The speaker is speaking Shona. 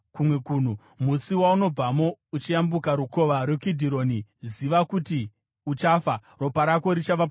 Musi waunobvamo uchiyambuka Rukova rweKidhironi, ziva kuti uchafa; ropa rako richava pamusoro pako.”